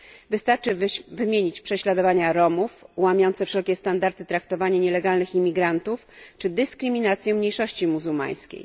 Wystarczy wymienić prześladowania Romów, łamiące wszelkie standardy traktowanie nielegalnych imigrantów czy dyskryminację mniejszości muzułmańskiej.